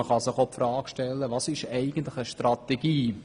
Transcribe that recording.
Was ist eigentlich eine Strategie?